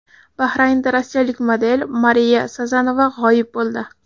Bahraynda rossiyalik model Mariya Sazonova g‘oyib bo‘ldi.